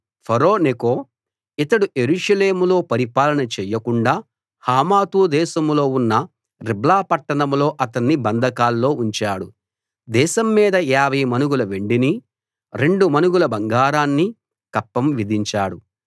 ఫరో Necho ఇతడు యెరూషలేములో పరిపాలన చెయ్యకుండా హమాతు దేశంలో ఉన్న రిబ్లా పట్టణంలో అతన్ని బంధకాల్లో ఉంచాడు దేశం మీద 50 మణుగుల వెండినీ రెండు మణుగుల బంగారాన్నీ కప్పం విధించాడు